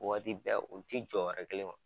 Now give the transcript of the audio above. Waati bɛɛ u ti jɔ wɛrɛ kelen ma.